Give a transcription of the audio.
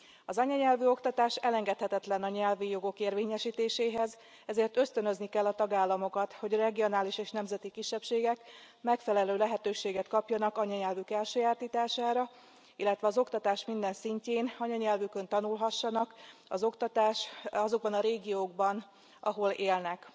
Az anyanyelvű oktatás elengedhetetlen a nyelvi jogok érvényesítéséhez, ezért ösztönözni kell a tagállamokat, hogy a regionális és nemzeti kisebbségek megfelelő lehetőséget kapjanak anyanyelvük elsajátítására, illetve az oktatás minden szintjén anyanyelvükön tanulhassanak azokban a régiókban, ahol élnek.